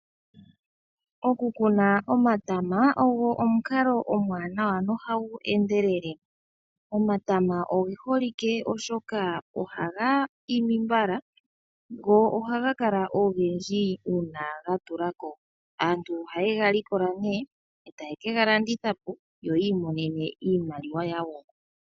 Oku kuna omatama ogo omukalo omuwanawa no hagu endelele. Omatama oge holike oshoka oha ga imi mbala. Go ohaga kala ogendji uuna ga tulako. Aantu ohaye ga likola nee eta ye kega landitha po yo yi imonena iimaliwa yawo.